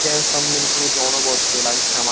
যাইহোক সবমিলিয়ে ছবিটি অনবদ্য লাগছে আমার।